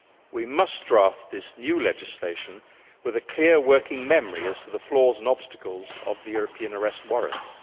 We must draft this new legislation with a clear working memory as to the flaws and obstacles of the European Arrest Warrant.